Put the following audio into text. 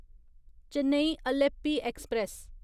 Chennai Alleppey express